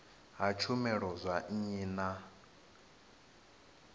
ha tshumelo dza nnyi na